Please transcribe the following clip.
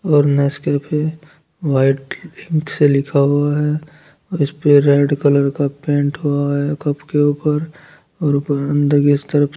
ओर Nescafe white paint से लिखा हुआ है इस पे रेड कलर का पेंट हुआ है कप के ऊपर और ऊपर अंदर के तरफ--